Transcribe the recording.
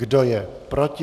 Kdo je proti?